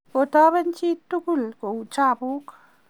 kotaben chiit tugul kou chabuk